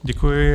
Děkuji.